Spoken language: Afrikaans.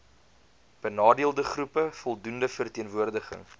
benadeeldegroepe voldoende verteenwoordiging